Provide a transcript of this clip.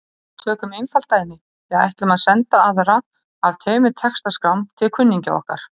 Tökum einfalt dæmi: Við ætlum að senda aðra af tveimur textaskrám til kunningja okkar.